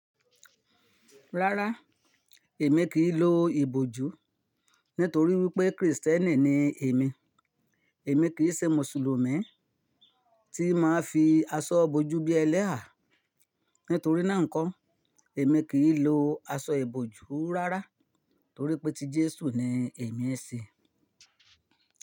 Rárá, èmi kì í lo ìbòjú nítorí wípé Kristẹni ni èmi. Èmi kì í ṣe Mùsùlùmí tí máa ń fi aṣọ bójú bí ẹlẹ́há. Nítorí náà nkọ́, èmi kì í lo aṣọ ìbòjú rárá torí pé ti Jésù ni èmi ń ṣe.